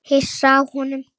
Hissa á honum.